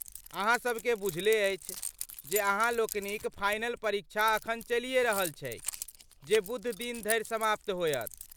अहाँ सभके बुझले अछि जे अहाँ लोकनिक फाइनल परीक्षा अखन चलिये रहल छैक ,जे बुधदिन धरि समाप्त होयत।